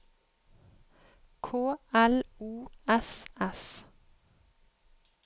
K L O S S